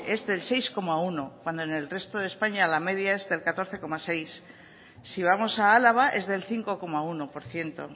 es del seis coma uno cuando en el resto de españa la media es del catorce coma seis si vamos a álava es del cinco coma uno por ciento